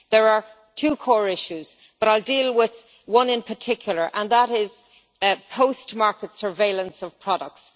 There are two core issues, but I will deal with one in particular and that is post market surveillance of products.